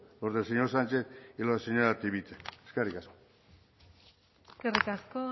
por el señor sánchez y la señora chivite eskerrik asko eskerrik asko